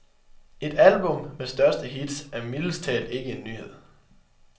Et album med største hits er mildest talt ikke en nyhed.